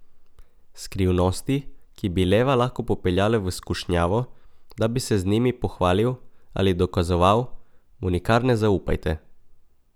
Skrivnosti, ki bi leva lahko popeljale v skušnjavo, da bi se z njimi pohvalil ali dokazoval, mu nikar ne zaupajte.